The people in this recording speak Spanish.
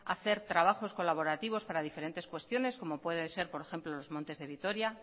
hacer trabajos colaborativos para diferentes cuestiones como pueden ser por ejemplo los montes de vitoria